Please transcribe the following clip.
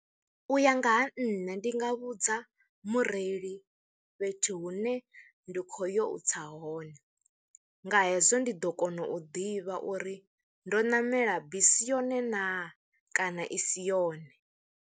U ya nga ha nṋe ndi nga vhudza mureili fhethu hune ndi khou yo u tsa hone, nga hezwo ndi ḓo kona u ḓivha uri ndo namela bisi yone naa kana i si yone.